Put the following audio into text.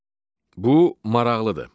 Bu maraqlıdır.